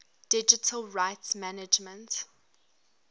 digital rights management